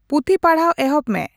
ᱯᱩᱛᱷᱤ ᱯᱟᱲᱦᱟᱣ ᱮᱦᱚᱵ ᱢᱮ